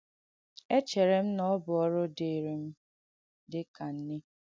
Èchērē m na ọ bụ ọ̀rụ̀ dị̀ị̀rị́ m dī ka nne.